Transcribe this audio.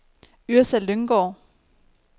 Yrsa Lynggaard